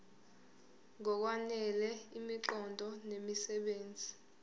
ngokwanele imiqondo nemisebenzi